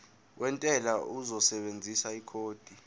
wentela uzosebenzisa ikhodi